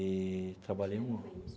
Eee trabalhei um ano.